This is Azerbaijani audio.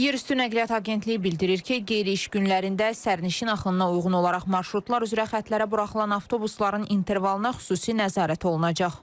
Yerüstü Nəqliyyat Agentliyi bildirir ki, qeyri-iş günlərində sərnişin axınına uyğun olaraq marşrutlar üzrə xətlərə buraxılan avtobusların intervalına xüsusi nəzarət olunacaq.